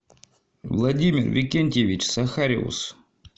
владимир викентьевич сахариус